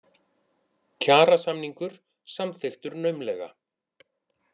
Kjarasamningur samþykktur naumlega